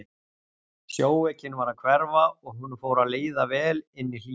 Sjóveikin var að hverfa og honum fór að líða vel inni í hlýjunni.